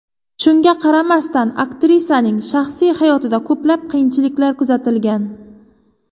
Shunga qaramasdan aktrisaning shaxsiy hayotida ko‘plab qiyinchiliklar kuzatilgan.